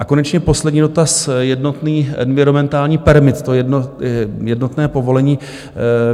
A konečně poslední dotaz, jednotný environmentální permit, to jednotné povolení.